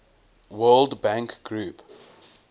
world bank group